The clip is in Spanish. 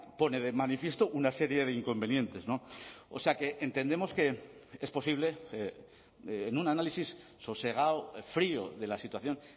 pone de manifiesto una serie de inconvenientes o sea que entendemos que es posible en un análisis sosegado frío de la situación